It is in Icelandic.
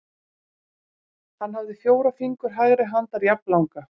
Hann hafði fjóra fingur hægri handar jafnlanga.